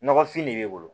Nɔgɔfin de b'e bolo